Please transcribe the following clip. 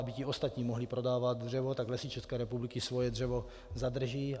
Aby ti ostatní mohli prodávat dřevo, tak Lesy České republiky svoje dřevo zadrží.